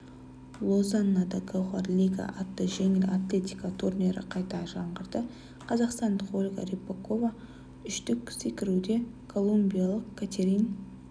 лозаннада гауһар лига атты жеңіл атлетика турнирі қайта жаңғырды қазақстандық ольга рыпакова үштік секіруде колумбиялық катерин